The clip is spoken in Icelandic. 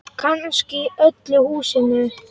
Kannski í öllu húsinu.